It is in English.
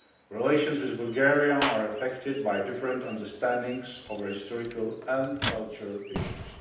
Relations with Bulgaria are affected by different understandings over historical and cultural issues.